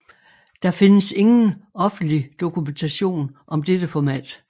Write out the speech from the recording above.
Der findes ingen offentlig dokumentation om dette format